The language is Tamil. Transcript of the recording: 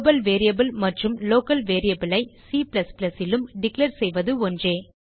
குளோபல் வேரியபிள் மற்றும் லோக்கல் வேரியபிள் ஐ C லும் டிக்ளேர் செய்வது ஒன்றே